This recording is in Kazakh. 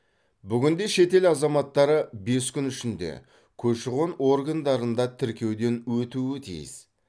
бүгінде шетел азаматтары бес күн ішінде көші қон органдарында тіркеуден өтуі тиіс